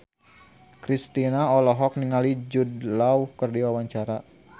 Kristina olohok ningali Jude Law keur diwawancara